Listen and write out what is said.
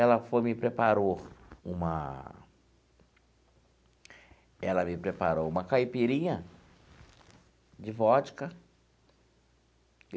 Ela foi, me preparou uma... Ela me preparou uma caipirinha de vodca.